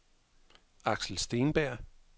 Aksel Steenberg